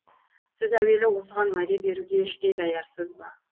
сіз әуелі осыған уәде беруге іштей даярсыз ба